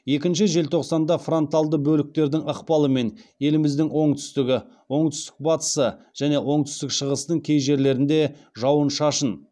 екінші желтоқсанда фронталды бөліктердің ықпалымен еліміздің оңтүстігі оңтүстік батысы және оңтүстік шығысының кей жерлерінде жауын шашын